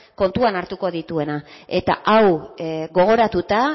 kontuan hartuko dituena eta hau gogoratuta